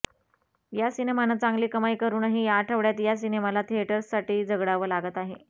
या सिनमानं चांगली कमाई करूनही या आठवड्यात या सिनेमाला थिएटर्ससाठी झगडावं लागत आहे